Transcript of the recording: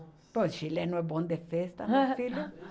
O chileno é bom de festa, meu filho.